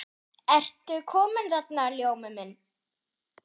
Ertu kominn þarna, Ljómi minn.